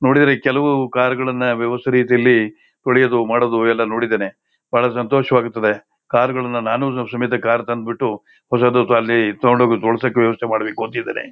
ನೋಡಿದ್ರೆ ಕೆಲವು ಕಾರಗಳನ್ನಾ ವ್ಯವಸ್ಥ ರೀತಿಯಲ್ಲಿ ತೊಳೆದು ಮಾಡುದು ಎಲ್ಲಾ ನೋಡಿದ್ದೀನಿ ಬಹಳ ಸಂತೋಷವಾಗುತ್ತದೆ ಕಾರಗಳನ್ನ ನಾನು ಸಮೇತ ಕಾರ ತಂದು ಬಿಟ್ಟು ಹೊಸದುತ ಅಲ್ಲಿ ತೊಕೊಂಡು ತೊಳಸಕ್ಕೆ ವ್ಯವಸ್ಥ ಮಾಡಬೇಕು ಅಂತಾ ಇದ್ದಿನಿ.